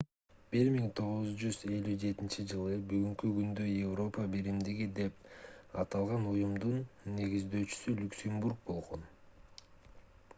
1957-ж бүгүнкү күндө европа биримдиги деп аталган уюмдун негиздөөчүсү люксембург болгон